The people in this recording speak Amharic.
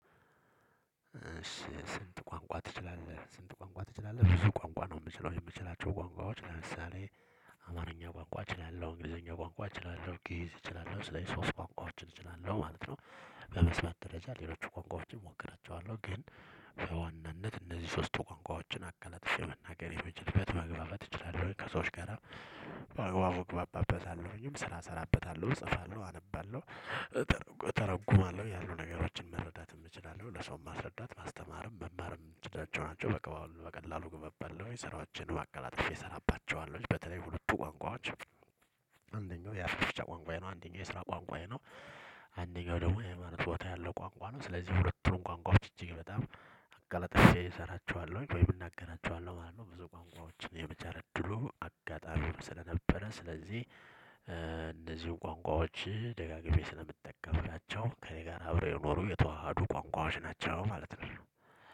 ስንት ቋንቋ ትችላለህ? ስንት ቋንቋ ትችላለህ ብዙ ቋንቋ ነው የምችለው የምችላቸው ቋንቋዎች ለምሳሌ አማርኛ ቋንቋ እችላለሁ እንግሊዘኛ ቋንቋ እችላለሁ ጊእዝ እችላለሁ ስለዚህ ሶስት ቋንቋዎችን እችላለሁ ማለት ነው። በመስማት ደረጃ ሌሎች ቋንቋዎችን እሞክራቸዋለሁ ግን በዋናነት እነዚህ ሶስቱ ቋንቋዎችን አቀለጥፌ የመናገር የሚችልበት መግባባት እችላለሁ ከሰዎች ጋራ። በአግባቡ እግባባበታለሁኝም ስራ ሰራበታለሁ እጽፋለሁ አነባለሁ። ተሮጉማለሁ ያሉ ነገሮችም መረዳትም እችላለሁ ለሰውም ማስረዳት ማስተማርም መማርም ምችላቸው ናቸው። በቀላሉ አነባለሁኝ ስራንም አቀላጥፈ ሰራባቸዋለሁ በተለይ ሁለቱ ቋንቋዎች። አንደኛው የአፍ መፍቺያ ቋንቋዬ ነው አንደኛው የስራ ቋንቋዬ ነው። አንደኛው ደግሞ የአይማኖት ቦታ ያለው ቋንቋ ነው ስለዚህ ሁለቱን ቋንቋ እጅግ በጣም አቀላትፈ እሰራቸዋለሁኝ ወይም እናገራቸዋለሁ ማለት ነው። ብዙ ቋንቋዎችን የመቻል እድሉ አጋጣሚ ስለነበረ ስለዚህ እንደዚሁ ቋንቋዎች ደጋግሜ ስለምጠቀም ናቸው። ከእኔ ጋር አብረው የኖሩ የተዋሃዱ ቋንቋዎች ናቸው ማለት ነው።